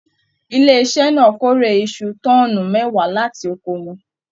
Ilé iṣẹ náà k'ore iṣu tọ́ọ́nú mẹwa láti oko wọn.